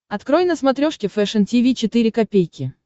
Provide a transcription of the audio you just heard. открой на смотрешке фэшн ти ви четыре ка